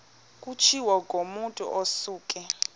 kutshiwo kumotu osuke